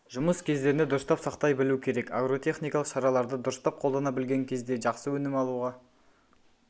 жұмыс кездерінде дұрыстап сақтай білу керек агротехникалық шараларды дұрыстап қолдана білген кезде жақсы өнім алуға